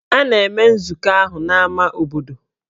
A na-eme nzukọ ahụ n'ámá obodo.